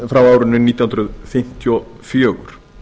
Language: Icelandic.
frá árinu nítján hundruð fimmtíu og fjögur